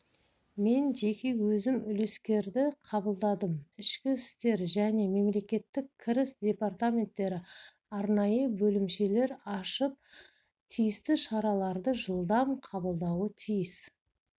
мен жеке өзім үлескерді қабылдадым ішкі істер және мемлекеттік кіріс департаменттері арнайы бөлімшелер ашып тиісті шараларды жылдам қабылдауы тиіс